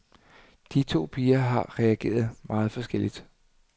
De to piger har reageret meget forskelligt.